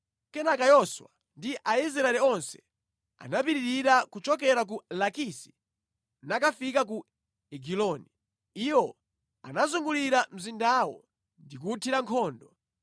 Kenaka Yoswa ndi Aisraeli onse anapitirira kuchokera ku Lakisi nakafika ku Egiloni. Iwo anazungulira mzindawo ndi kuwuthira nkhondo.